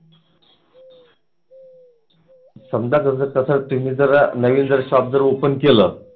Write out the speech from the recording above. समजा तुम्ही जरा नवीन जर shop open केल